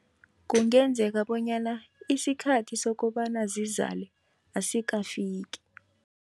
Kungenzeka bonyana isikhathi sokobana zizale asikafiki.